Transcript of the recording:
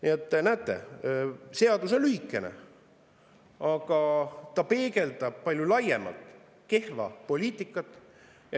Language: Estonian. Nii et, näete, seadus on lühikene, aga ta peegeldab palju laiemalt meie kehva poliitikat.